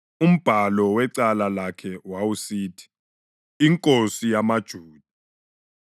Umbhalo wecala lakhe wawusithi: INkosi yamaJuda.